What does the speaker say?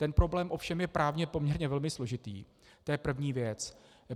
Ten problém ovšem je právně poměrně velmi složitý, to je první věc.